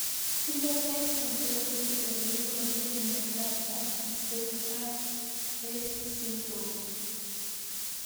Phenotype ontology koparu ole iparukei miondo Antisynthetase syndrome